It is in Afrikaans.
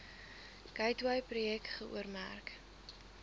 gateway projek geoormerk